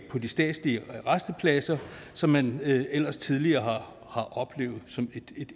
på de statslige rastepladser som man ellers tidligere har oplevet som